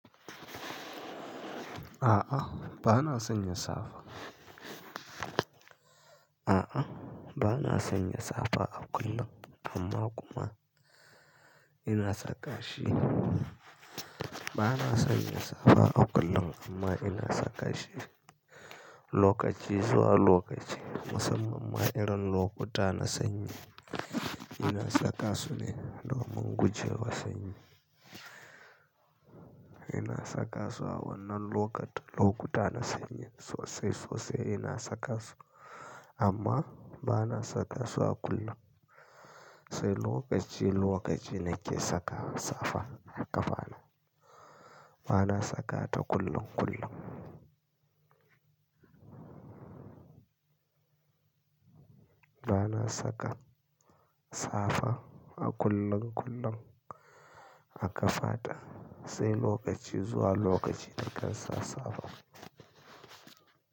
A'a ba na sanya safa. A'a, ba na sanya safa a kullum amma kuma ina saka shi. Ba na sanya safa a kullum amma ina saka shi lokaci zuwa lokaci musammanma irin lokuta na sanyi. Ina sakasu ne domin guje wa sanyi. Ina sakasu a wannan lokutan lokuta na sanyi sosai sosai ina sakasu amma ba na sakasu a kullun. Sai lokaci lokaci ne ke saka safa a ƙafa na. Ba na saka ta kullum kullum. Ba na saka safa a kullun kullun a ƙafaɗa sai lokaci zuwa lokaci na kan sa safa.